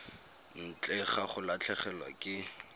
ntle ga go latlhegelwa ke